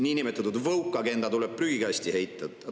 Niinimetatud woke-agenda tuleb prügikasti heita.